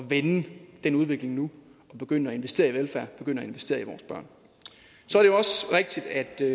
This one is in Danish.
vende den udvikling nu og begynde at investere i velfærd begynde at investere i vores børn så er det